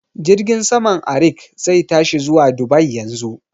Jirgin saman Arik zai tashi zuwa Dubai yanzu